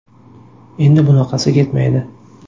Endi bunaqasi ketmaydi.